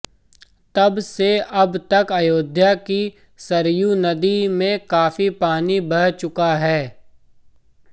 तब से अब तक अयोध्या की सरयू नदी में काफी पानी बह चुका है